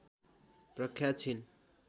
प्रख्यात छिन्